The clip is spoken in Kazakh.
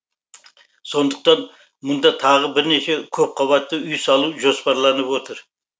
сондықтан мұнда тағы бірнеше көпқабатты үй салу жоспарланып отыр